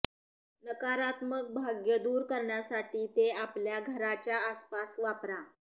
नकारात्मक भाग्य दूर करण्यासाठी ते आपल्या घराच्या आसपास वापरा